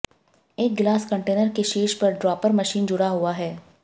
एक गिलास कंटेनर के शीर्ष पर ड्रॉपर मशीन जुड़ा हुआ है